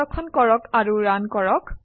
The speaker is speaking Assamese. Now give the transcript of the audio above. সংৰক্ষণ কৰক আৰু ৰান কৰক